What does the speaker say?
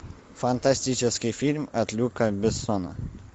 фантастический фильм от люка бессона